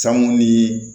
Sango ni